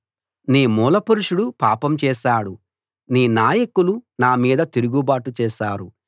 నీ మూలపురుషుడు పాపం చేశాడు నీ నాయకులు నామీద తిరుగుబాటు చేశారు